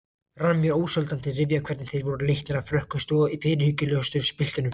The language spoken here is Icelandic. Rann mér ósjaldan til rifja hvernig þeir voru leiknir af frökkustu og fyrirhyggjulausustu piltunum.